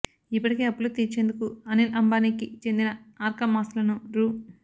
ఇప్పటికే అప్పులు తీర్చేందుకు అనిల్ అంబానీకి చెందిన ఆర్కామ్ ఆస్తులను రూ